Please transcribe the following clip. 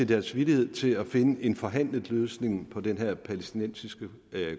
deres villighed til at finde en forhandlet løsning på den her palæstinensiske